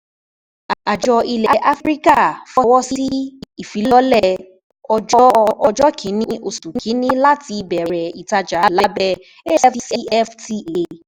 Àjọ ilẹ̀ Áfíríkà fọwọ́ sí ìfilọ́lẹ̀ ọjọ́ ọjọ́ kìíní oṣù kìíní láti bẹ̀rẹ̀ ìtajà lábẹ́ AfCFTA